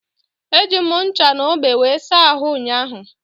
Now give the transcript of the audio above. Eji m ncha na ogbo wee saa ahụ ụnyaahụ.